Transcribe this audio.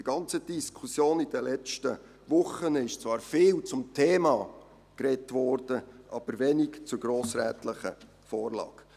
In der ganzen Diskussion während der letzten Wochen wurde zwar viel zum Thema gesprochen, aber wenig zur grossrätlichen Vorlage.